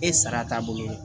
E sara taabolo ye